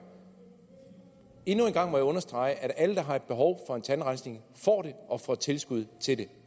endnu en gang må jeg understrege at alle der har behov for en tandrensning får det og får tilskud til det